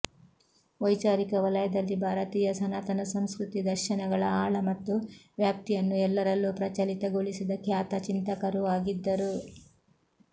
ವೈಚಾರಿಕ ವಲಯದಲ್ಲಿ ಭಾರತೀಯ ಸನಾತನ ಸಂಸ್ಕೃತಿ ದರ್ಶನಗಳ ಆಳ ಮತ್ತು ವ್ಯಾಪ್ತಿಯನ್ನು ಎಲ್ಲರಲ್ಲೂ ಪ್ರಚಲಿತಗೊಳಿಸಿದ ಖ್ಯಾತ ಚಿಂತಕರೂ ಆಗಿದ್ದರು